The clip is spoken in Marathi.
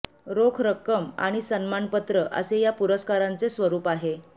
रोख रक्कम आणि सन्मानपत्र असे या पुरस्कारांचे स्वरूप आहे